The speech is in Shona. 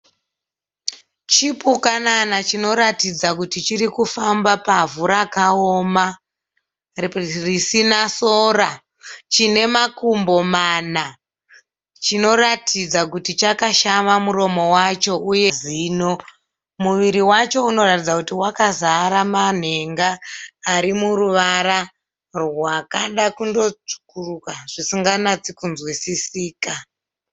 Chipupanana chinoratidza kuti chirikufamba pavhu rakaoma. Risina sora. Chine makumbo mana. Chinoratidza kuti chakashama muromo wacho, uye zino. Muviri wacho unoratidza kuti wakazara manhenga arimuruvara rwakada kundotsvukuruka zvisinganyatsikunzwisisika.